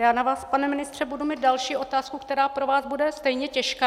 Já na vás, pane ministře, budu mít další otázku, která pro vás bude stejně těžká.